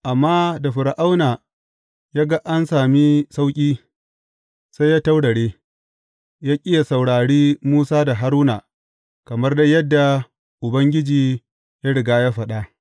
Amma da Fir’auna ya ga an sami sauƙi, sai ya taurare, ya ƙi yă saurari Musa da Haruna kamar dai yadda Ubangiji ya riga ya faɗa.